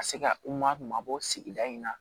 Ka se ka u mabɔ sigida in na